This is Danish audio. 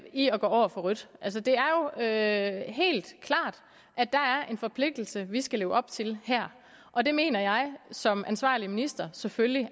i at gå over for rødt altså det er jo helt klart at der er en forpligtelse vi her skal leve op til og det mener jeg som ansvarlig minister selvfølgelig